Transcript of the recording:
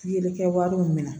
Pikiri kɛ wari min minɛ